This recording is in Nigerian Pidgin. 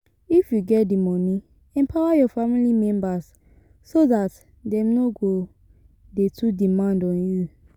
If you get di money, empower your family members so dat dem no go dey too demand on you